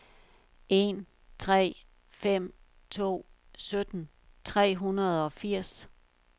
en tre fem to sytten tre hundrede og firs